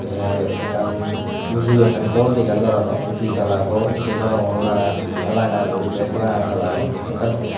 te ekkan uju ekkan gor dega jar arow ditalla gor se parongor ranga ranga guri bek ranga kalaror.